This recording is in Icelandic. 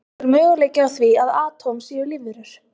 Og er möguleiki á því að atóm séu lífverur?